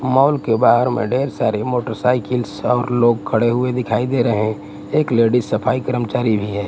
Mall के बाहर में ढेर सारी मोटरसाइकिल सब लोग खड़े हुए दिखाई दे रहे हैं एक लेडिस सफाई कर्मचारी भी है।